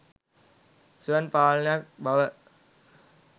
ස්වයං පාලනයක් බව